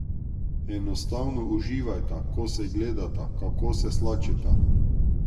Enostavno uživajta, ko se gledata, kako se slačita.